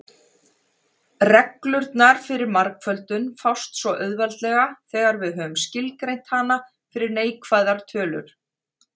Reglurnar fyrir margföldun fást svo auðveldlega þegar við höfum skilgreint hana fyrir neikvæðar tölur.